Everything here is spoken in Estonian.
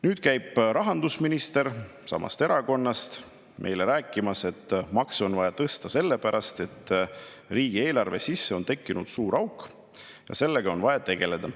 Nüüd käib rahandusminister – samast erakonnast – meile rääkimas, et makse on vaja tõsta sellepärast, et riigieelarvesse on tekkinud suur auk ja sellega on vaja tegeleda.